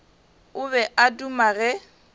o be a duma ge